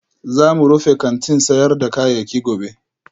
Za mu rufe kantin sayar da kayayyaki gobe